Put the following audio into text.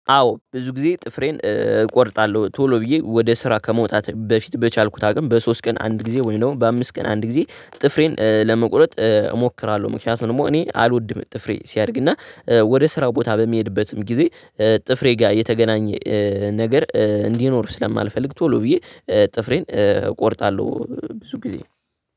አዎ ብዙ ጊዜ ጥፍሬን እቆርጣለሁ ቶሎ ብዬ ወደ ስራ ከመውጣት በፊት በቻልኩት አቅም በሶስት ቀን አንድ ጊዜ ወይም ደግሞ በአምስት ቀን አንድ ጊዜ ጥፍሬን ለመቁረጥ እሞክራለሁ። ምክንያቱም እኔ አልወድም ጥፍሬ ሲያድግና ወደ ስራው ቦታ በሚሄድበትም ጊዜ ጥፍሬ ጋር የተገናኘ ነገር እንዲኖር ስለማልፈልግ ቶሎ ብዬ ጥፍሬን እቆርጣለሁ። ብዙ ጊዜ